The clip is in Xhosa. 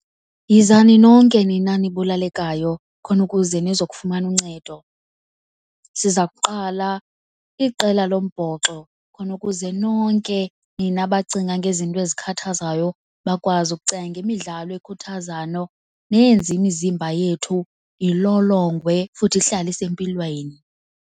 Yizani nonke nina nibulalekayo khona ukuze nizokufumana uncedo. Siza kuqala iqela lombhoxo khona ukuze nonke nina bacinga ngezinto ezikhathazayo bakwazi ukucinga ngemidlalo ekhuthazayo neyenza imizimba yethu ilolongwe futhi ihlale isempilweni.